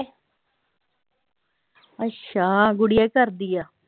ਅੱਛਾ, ਗੁਡੀਆ ਕੀ ਕਰਦੀ ਆ?